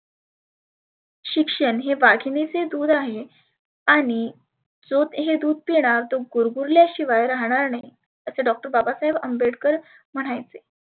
शिक्षण हे वाघिनीचे दुध आहे आणि जो हे दुध पिनार गुर गुरल्या शिवाय राहणार नाही. असं doctor बाबासाहेब अंबेडकर म्हणायचे.